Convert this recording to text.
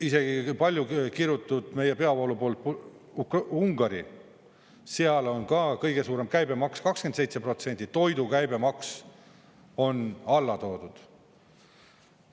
Isegi paljukirutud meie peavoolu poolt Ungari, seal on ka kõige suurem käibemaks 27%, toidu käibemaks on alla toodud.